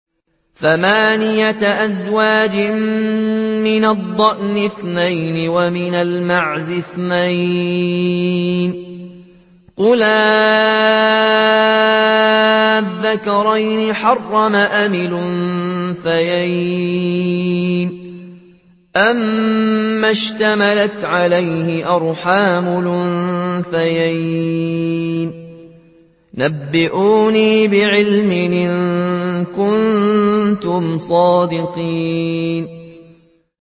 ثَمَانِيَةَ أَزْوَاجٍ ۖ مِّنَ الضَّأْنِ اثْنَيْنِ وَمِنَ الْمَعْزِ اثْنَيْنِ ۗ قُلْ آلذَّكَرَيْنِ حَرَّمَ أَمِ الْأُنثَيَيْنِ أَمَّا اشْتَمَلَتْ عَلَيْهِ أَرْحَامُ الْأُنثَيَيْنِ ۖ نَبِّئُونِي بِعِلْمٍ إِن كُنتُمْ صَادِقِينَ